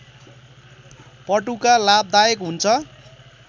पटुका लाभदायक हुन्छ